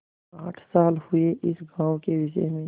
आठ साल हुए इस गॉँव के विषय में